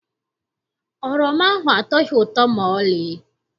Oroma ahụ atọghị ụtọ maọlị.